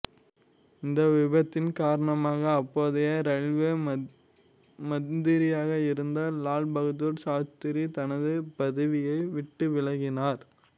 இந்த விபத்தின் காரணமாக அப்போதைய இரயில்வே மந்திரியாக இருந்த லால் பகதூர் சாஸ்திரி தனது பதவியை விட்டு விலகினார்